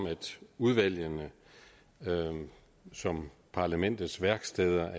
udvalgene som parlamentets værksteder